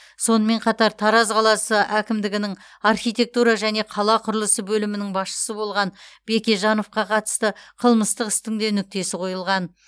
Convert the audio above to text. сонымен қатар тараз қаласы әкімдігінің архитектура және қала құрылысы бөлімінің басшысы болған бекежановқа қатысты қылмыстық істің де нүктесі қойылған